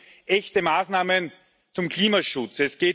Es geht um echte Maßnahmen zum Klimaschutz.